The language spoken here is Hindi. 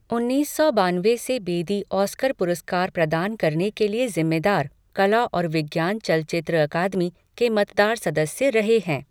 उन्नीस सौ बानवे से बेदी ऑस्कर पुरस्कार प्रदान करने के लिए जिम्मेदार, कला और विज्ञान चलचित्र अकादमी, के मतदार सदस्य रहे हैं।